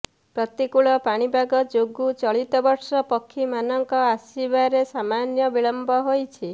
ପ୍ରତିକୁଳ ପାଣିପାଗ ଯୋଗୁଁ ଚଳିତବର୍ଷ ପକ୍ଷୀ ମାନଙ୍କ ଆସିବାରେ ସାମାନ୍ୟ ବିଳମ୍ୱ ହୋଇଛି